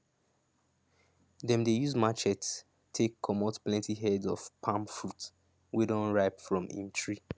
dem dey use matchetes to take comot plenty heads of palm fruit wey don ripe from im tree